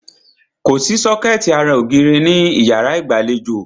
Kòsí sọ́kẹ̀tì ara ògiri ní ìyárá ìgbàlejò.